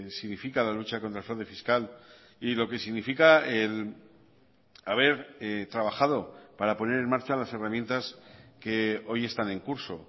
significa la lucha contra el fraude fiscal y lo que significa el haber trabajado para poner en marcha las herramientas que hoy están en curso